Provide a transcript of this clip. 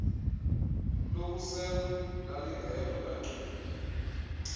lokusela lalingekho ndagqiba